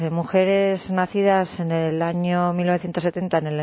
mujeres nacidas en el año mil novecientos setenta